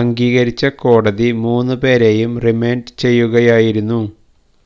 അംഗീകരിച്ച കോടതി മൂന്നു പേരെയും റിമാൻഡ് ചെയ്യുകയായിരുന്നു